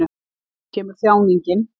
Þá kemur þjáningin.